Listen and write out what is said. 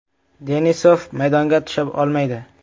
Denisov maydonga tusha olmaydi.